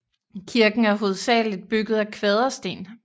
Kirken er hovedsageligt bygget af kvadersten